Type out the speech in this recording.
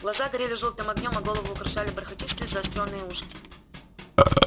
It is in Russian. глаза горели жёлтым огнём а голову украшали бархатистые заострённые ушки